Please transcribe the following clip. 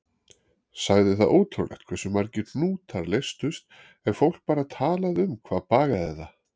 Sagði það ótrúlegt hversu margir hnútar leystust ef fólk bara talaði um hvað bagaði það.